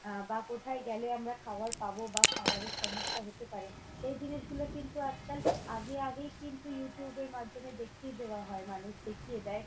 আহ বা কোথা গেলে আমরা খাবার পাব বা খাবারের সমস্যা হতে পারে, সেই জিনিসগুলো কিন্তু আজকাল আগে আগেই কিন্তু YouTube এর মাধ্যমে দেখিয়ে দেওয়া হয় মানুষকে।